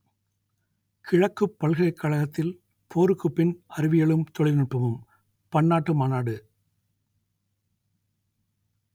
கிழக்குப் பல்கலைக்கழத்தில் போருக்குப் பின் அறிவியலும் தொழில்நுட்பமும் பன்னாட்டு மாநாடு